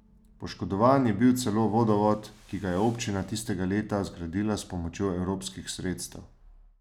Poškodovan je bil celo vodovod, ki ga je občina tistega leta zgradila s pomočjo evropskih sredstev.